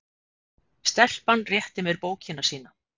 Stelpan rétti mér bókina sína.